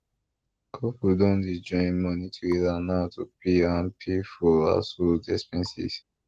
couple don dey join money together now to plan and pay for household expenses